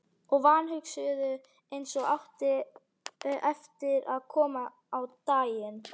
Og vanhugsuðu, eins og átti eftir að koma á daginn.